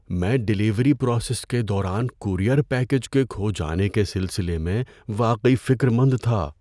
میں delivery process کے دوران کورئیر پیکیج کے کھو جانے کے سلسلے میں واقعی فکرمند تھا۔